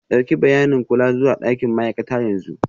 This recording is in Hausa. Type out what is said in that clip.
Ɗauki bayanin kula zuwa ɗakin ma'aikata yanzu.